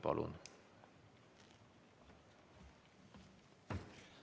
Palun!